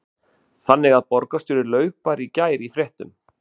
Lára: Þannig að borgarstjóri laug bara í gær í fréttum?